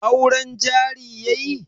Auren jari yayi?